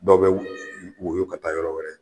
Dɔw bɛ wɔyɔ ka taa yɔrɔ wɛrɛ